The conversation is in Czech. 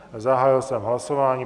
Zahájil jsem hlasování.